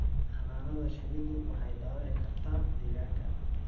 Xannaanada shinnidu waxay dhaawici kartaa deegaanka.